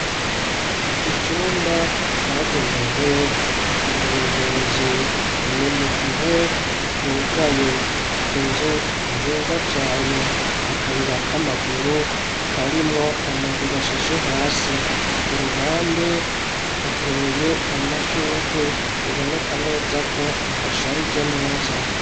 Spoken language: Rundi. Icumba cagenewe abayobozi ni mu gihe cugaye inzu nziza cane akayira k'amaguru karimwo amabuye ashashe hasi ku ruhande hateye amashugwe biboneka neza ko ahasharije neza.